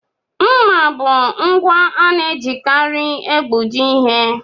Mmà bụ ngwa ana-ejikarị egbuji ihe.